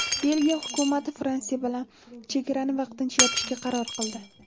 Belgiya hukumati Fransiya bilan chegarani vaqtincha yopishga qaror qildi.